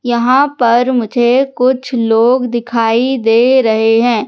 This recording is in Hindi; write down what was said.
यहां पर मुझे कुछ लोग दिखाई दे रहे हैं।